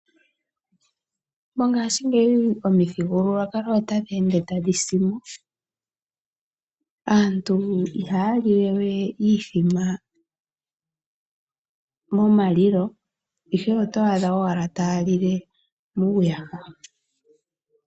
Mongaashingeyi omithigulwakalo otadhi ende tadhi si mo, aantu ihaa lile we iithima momalilo ihe oto adha owala taa lile muuyaha.